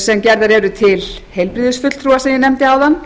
sem gerðar eru til heilbrigðisfulltrúa eins og ég nefndi áðan